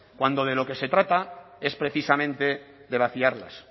cuando de lo que se trata es precisamente de vaciarlas